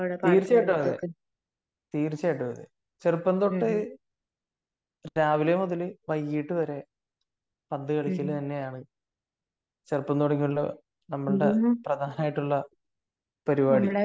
തീർച്ചയായിട്ടും അതെ തീർച്ചയായിട്ടും അതെ . ചെറുപ്പം തൊട്ടു രാവിലെ മുതൽ വൈകിട്ട് വരെ പന്ത് കളിക്കൽ തന്നെയാണ് ചെറുപ്പം തുടങ്ങിയുള്ള നമ്മളുടെ പ്രധാനായിട്ടുള്ള പരിപാടി